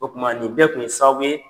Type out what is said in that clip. O kuma nin bɛɛ kun ye sababu ye